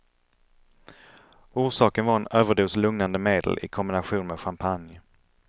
Orsaken var en överdos lugnande medel i kombination med champagne.